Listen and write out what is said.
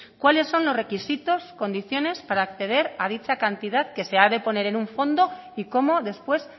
cuáles son los requisitos condiciones para acceder a dicha cantidad que se ha de poner en un fondo y cómo después